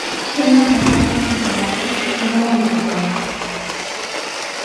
Kenyor apa netadamuaki egirae aitabaya